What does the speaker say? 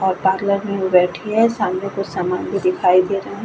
और पार्लर में बैठी है। समने कुछ समान भी दिखाई दे रहा है।